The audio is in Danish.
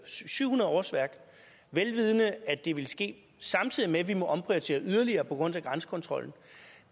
syv hundrede årsværk vel vidende at det vil ske samtidig med at vi må omprioritere yderligere på grund af grænsekontrollen